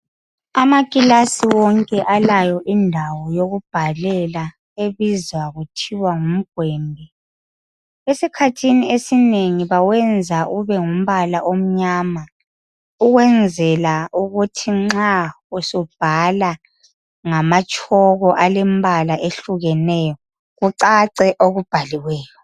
Amakilasi wonke alayo indawo yokubhalela ebizwa kuthiwa ngumgwembi. Esikhathini esinengi bawenza ubengumbala omnyama ukwenzela ukuthi nxa usubhala ngamatshoko alembala ehlukeneyo kucace okubhaliweyo.